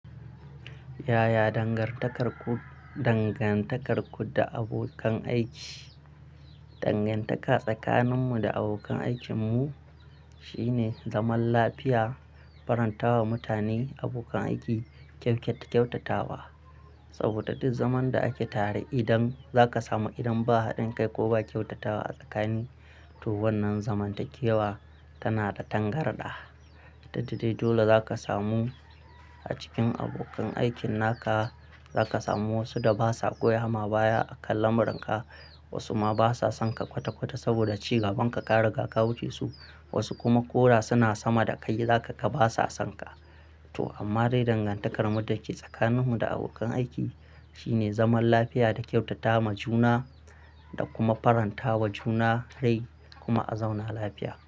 Yaya dangantakarku, dangantakarku da abokan aiki. Dangantaka tsakaninmu da abokan aikinmu shine zaman lafiya, faranta wa mutane abokan aiki kyau, kyautatawa. Saboda duk zaman da ake tare idan zaka samu idan ba haɗin kai ko ba kyautatawa a tsakanin to, wannan zamantakewa tana da tangarɗa. Duk dai dole zaka samu a cikin abokan aikin naka. Zaka samu wasu da basa goya ma baya a kan lamuranka. Wasu ma basa sonka kwata kwata saboda ci gaban ka ka riga ka wuce su. Wasu kuma koda suna sama da kai zaka ka basa sonka. To amma dai dangantakarmu da ke tsakaninmu da abokan aiki shine zaman lafiya da kyautata ma juna da kuma faranta wa juna rai kuma a zauna lafiya.